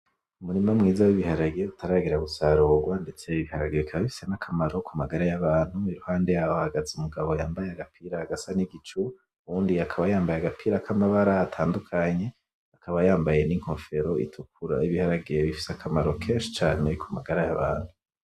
Umurima mwiza w’ibiharage utaragera gusarurwa ndetse ibiharage bikaba bifise n’akamaro ku magara y’abantu. Iruhande yaho hahagaze umugabo yambaye agapira gasa n’igicu uwundi akaba yambaye agapira k’amabara atandukanye akaba yambaye n’inkofero itukura. Ibiharage bifise akamaro kenshi cane ku magara y’abantu.